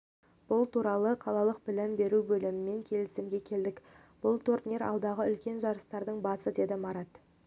бұл туралы қалалық білім бөліміммен келісімге келдік бұл турнир алдағы үлкен жарыстардың басы деді марат